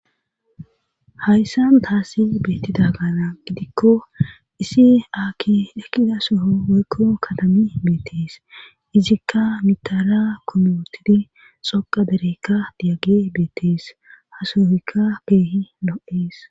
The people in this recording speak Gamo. Hayssan taasi beettida gaana gidikko isi aakki ekida soho woykko kadami beetees izikka mitara koomiotidi xoqa derekka diyage beettees hasohykka keehi lo'ees